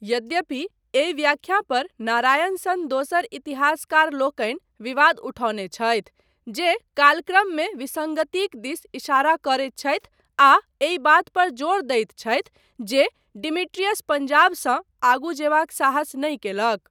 यद्यपि एहि व्याख्या पर नारायण सन दोसर इतिहासकारलोकनि विवाद उठौने छथि, जे कालक्रममे विसङ्गतिक दिस इशारा करैत छथि आ एहि बात पर जोर दैत छथि जे डिमिट्रियस पंजाबसँ आगू जेबाक साहस नहि कयलक।